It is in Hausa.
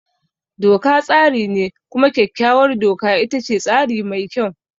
Doka tsari ne, kuma kyakkyawar doka ita ce tsari mai kyau.